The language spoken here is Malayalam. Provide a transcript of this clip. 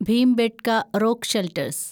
Bhimbetka rock shelters